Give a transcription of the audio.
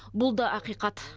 бұл да ақиқат